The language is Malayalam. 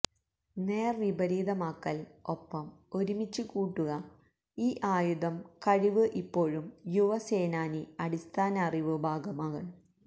നേർവിപരീതമാക്കൽ ഒപ്പം ഒരുമിച്ചുകൂട്ടുക ഈ ആയുധം കഴിവ് ഇപ്പോഴും യുവ സേനാനി അടിസ്ഥാന അറിവ് ഭാഗമാണ്